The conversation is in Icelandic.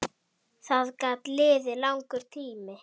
Það gat liðið langur tími.